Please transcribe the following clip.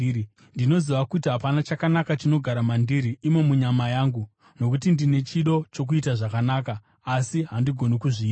Ndinoziva kuti hapana chakanaka chinogara mandiri, imo munyama yangu. Nokuti ndine chido chokuita zvakanaka, asi handigoni kuzviita.